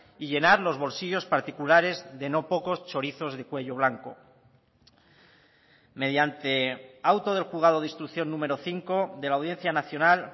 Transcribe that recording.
y llenar los bolsillos particulares de no pocos chorizos de cuello blanco mediante auto del juzgado de instrucción número cinco de la audiencia nacional